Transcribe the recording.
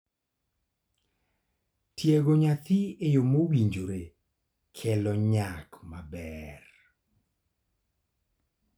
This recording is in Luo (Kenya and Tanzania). Tiego nyathi e yo mowinjore kelo nyak maber.